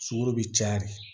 Sukaro bi caya